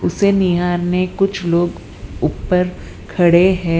उसे निहारने कुछ लोग ऊपर खड़े हैं।